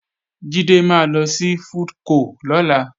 Jídé máa lọ sí FoodCo lọ́la